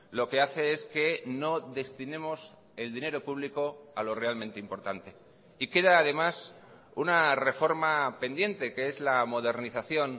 lo que hace es que no destinemos el dinero público a lo realmente importante y queda además una reforma pendiente que es la modernización